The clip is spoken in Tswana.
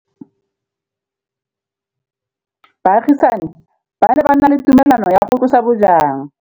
Baagisani ba ne ba na le tumalanô ya go tlosa bojang.